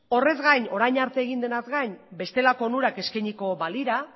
horrez gain orain arte egin denaz gain bestelako onurak eskainiko balira